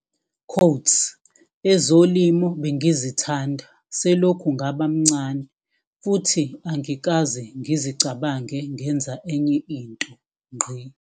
"Ezolimo bengizithanda selokhu ngaba mncane futhi angikaze ngizicabange ngenza enye into."